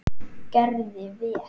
Gerði vel.